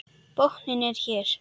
Botninn er hér!